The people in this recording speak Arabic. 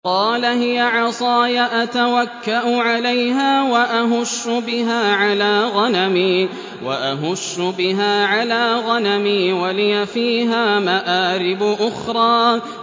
قَالَ هِيَ عَصَايَ أَتَوَكَّأُ عَلَيْهَا وَأَهُشُّ بِهَا عَلَىٰ غَنَمِي وَلِيَ فِيهَا مَآرِبُ أُخْرَىٰ